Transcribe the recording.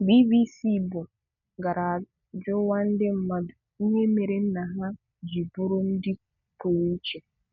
BBC Igbo gara ajụwa ndị mmadụ ihe mere nna ha ji bụrụ ndị pụrụ iche.